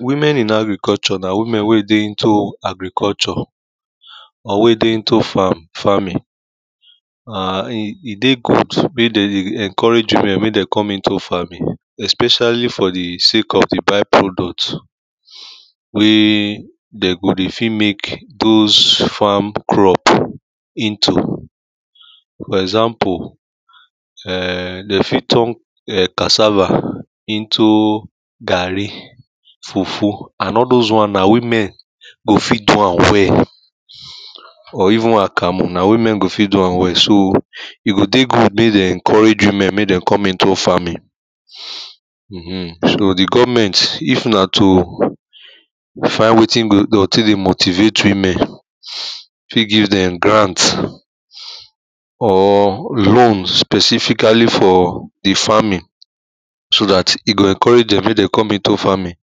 women in agriculure na women wey dey into agriculture or wen e dey into farming and e dey good mey de dey encourage women mey den dey come into farming especially for di by-product wey de go dey fit mek those farm crop into for example, um de fit turn cassava into garri, fufu and all those wan na women go fit do am well or even akamu na women go fit do am well so e go dey good mey dem encourage women mey dem come into farming. um so di government if na to find wetin de o tek dey motivate women fit give dem grant, or loans specifically for di farmng so dat e go encourage dem mey den come into farming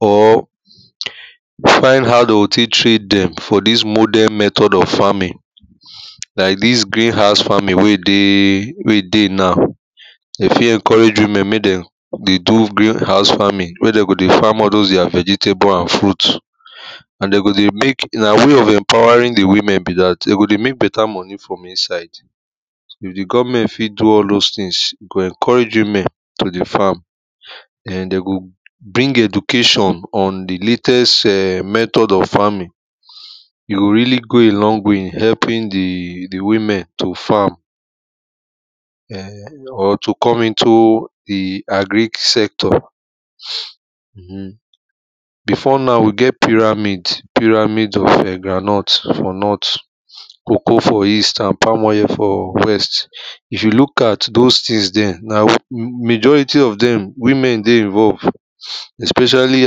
or find how de o train dem for dis modern method of farming. like dis green house farming wey e dey wey e dey now de fit encourage womn mey de ey do gren house farming mek den go dey farm those their vgetable and fruit. and de go dey mek na way of empowering our women be dat and de go de mek beta moni for insde, if di governmtne fit do all those things, e go encourage women to dey farm. and de go bring education on di latest um method of farming e go reallly go a long way in helping di di women to farm. um or to come into di agric sector. um before now, we get piramid piramid of um groundnut for north cocoa for east and pam oil for west. if you look at those tins dem, majority of dem, women dey involve especially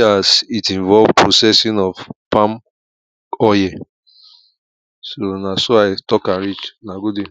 as it involve processing of palm oil so na so i talk am reach una good day.